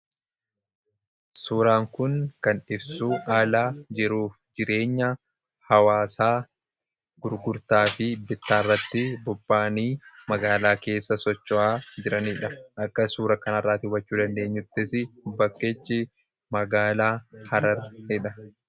Suuraan kun kan ibsuu haalaa jiruuf jireenya hawaasaa gurgurtaa fi bittaa irratti bobba'anii magaalaa keessa socho'aa jiraniidha. Akka suura kana iraatii daawwachuu dandeenyuttis bakkichi magaalaa Hararidha.